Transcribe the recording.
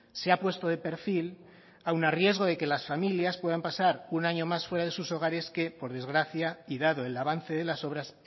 se ha puesto de perfil aun a riesgo de que las familias puedan pasar un año más fuera de sus hogares que por desgracia y dado el avance de las obras